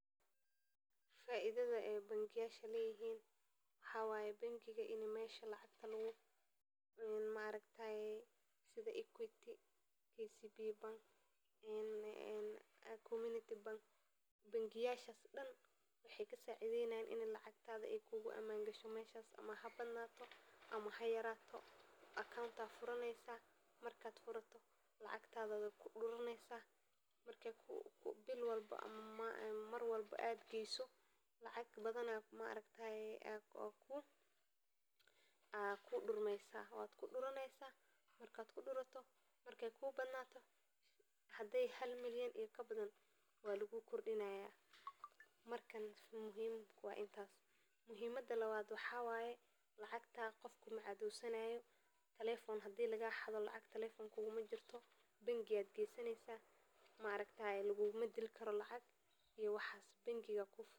Faidada ee bangiyasha ee leyihin waxaa waye bangiga ini mesha lacagta maaragtaye sitha equity KCBE bank ee community bank bangiyasha dan waxee kasacidheynesa in lacagtadha ee kugu aman gasho meshas ama ha bad nato ama hayarato account aya furaneysa marka furato lacagtaada aya kuduraneysa marka gesato lacag badan aya kudurmeyso waad kuduraneysa marki ee ku badnato hade halmalyan iyo kabadan waa lagu kordinaya markan muhiim waa intas muhiimaada lawaad lacagta qof kuma cadhosanayo bangi aya gesaneysa ma lagu dili karo lacag iyo waxas bangiga aya ku furan.